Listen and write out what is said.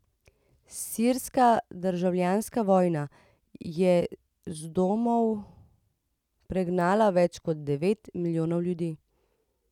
Sirska državljanska vojna je z domov pregnala več kot devet milijonov ljudi.